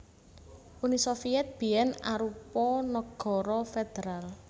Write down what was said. Uni Sovyèt biyèn arupa nagara federal